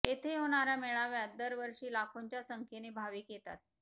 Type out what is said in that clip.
येथे होणाऱ्या मेळाव्यात दर वर्षी लाखोंच्या संख्येने भाविक येतात